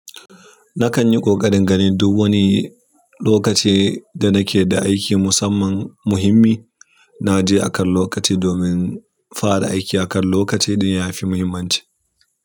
Na kan yi ƙoƙarin naga duk wani lokaci da nake da aiki, musamman muhimmi naje akan lokaci domin fara aiki akan lokaci ɗin yafi muhimmanci.